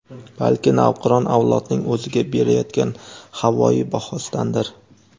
balki navqiron avlodning o‘ziga berayotgan havoyi bahosidandir.